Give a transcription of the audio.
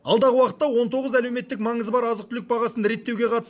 алдағы уақытта он тоғыз әлеуметтік маңызы бар азық түлік бағасын реттеуге қатысты